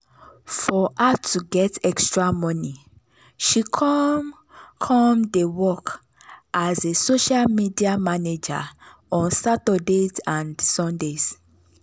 for her to get extra money she come come dey work as a social media manager on saturdays and sundays.